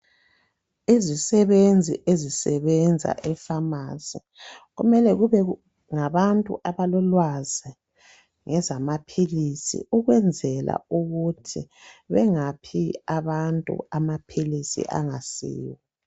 Izisebenzi ezisebenza epharmacy kumele kube ngabantu abalolwazi ngezamaphilisi ukwenzela ukuthi bengaphi abantu amaphilisi angasiwo